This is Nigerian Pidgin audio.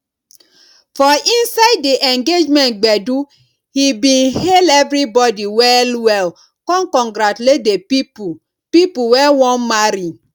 for inside di engagement gbedu he bin hail everybodi well well con congratulate di people people wey wan marry